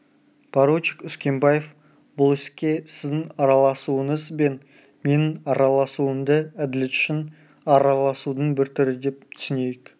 поручик үскенбаев бұл іске сіздің араласуыңыз бен менің араласуымды әділет үшін араласудың бір түрі деп түсінейік